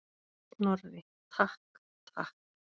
Snorri, takk, takk.